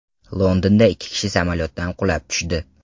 Londonda ikki kishi samolyotdan qulab tushdi.